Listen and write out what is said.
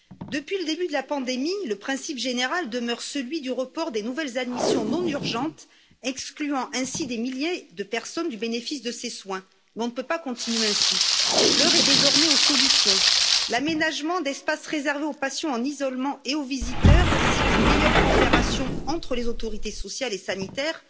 Depuis le début de la pandémie, le principe général demeure celui du report des nouvelles admissions non urgentes, excluant ainsi des milliers de personnes du bénéfice de ces soins, mais on ne peut pas continuer ainsi. L'heure est désormais aux solutions l'aménagement d'espaces réservés aux patients en isolement et aux visiteurs, ainsi qu'une meilleure coopération entre les autorités sociales et sanitaires